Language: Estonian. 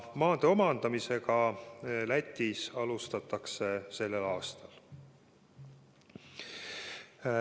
Maade omandamisega alustatakse Lätis sellel aastal.